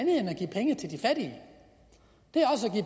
give